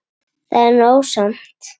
Það er nóg samt.